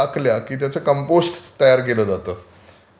हा, हा.